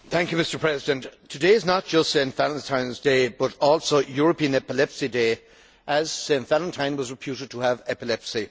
Mr President, today is not just St Valentine's Day, but also European Epilepsy Day, as St Valentine was reputed to have epilepsy.